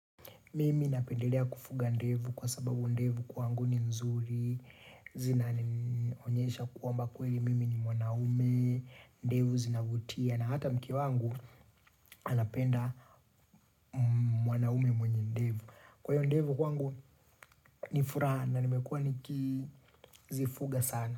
Mimi napendelea kufuga ndevu kwa sababu ndevu kwangu ni nzuri, zinanionyesha kwamba kweli mimi ni mwanaume, ndevu zinavutia na hata mke wangu anapenda mwanaume mwenye ndevu. Kwa hiyo ndevu kwangu ni furaha na nimekua nikizifuga sana.